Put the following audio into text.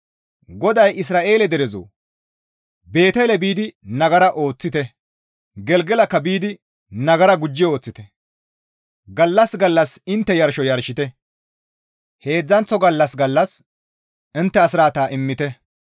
GODAY, «Isra7eele derezoo! Beetele biidi nagara ooththite! Gelgelakka biidi nagara gujji ooththite! gallas gallas intte yarsho yarshite! heedzdzanththo gallas gallas intte asraata immite.